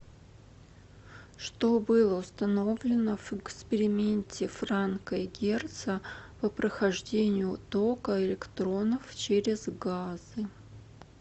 что было установлено в эксперименте франка и герца по прохождению тока электронов через газы